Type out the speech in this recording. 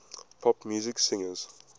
pop music singers